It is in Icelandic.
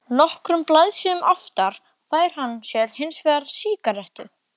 Nokkrum blaðsíðum aftar fær hann sér hins vegar sígarettu.